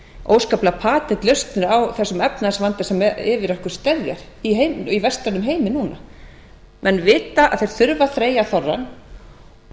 óskaplegar patentlausnir á þessum efnahagsvanda sem yfir okkur steðja í vestrænum heimi eina menn vita að þeir þurfa að þreyja þorrann það er það eina